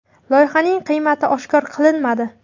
Loyihaning qiymati oshkor qilinmadi.